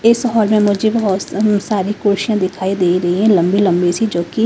इस हॉल में मुझे बहुत हं सारी कुर्षियां दिखाई दे रही हैं लंबी लंबी सी जबकि--